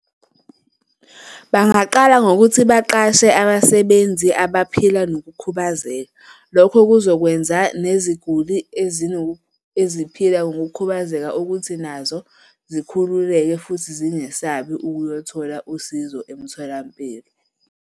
Bangaqala ngokuthi baqashe abasebenzi abaphila nokukhubazeka. Lokho kuzokwenza neziguli eziphila ngokukhubazeka ukuthi nazo zikhululekile futhi zingesabi ukuyothola usizo emtholampilo.